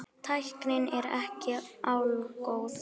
Tæknin er ekki algóð.